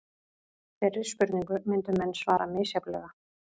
Þeirri spurningu myndu menn svara misjafnlega.